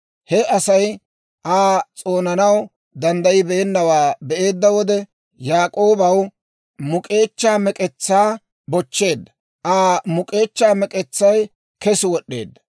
He Asay Aa s'oonanaw danddayibeenawaa be'eedda wode, Yaak'oobaw muk'k'eechchaa mek'etsaa bochcheedda; Aa muk'k'eechchaa mek'etsay kes wod'd'eedda.